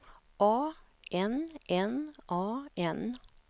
A N N A N